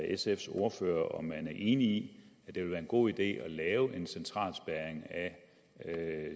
sfs ordfører om man er enig i at det vil være en god idé at lave en central spærring af